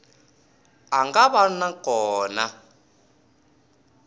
a nga va na kona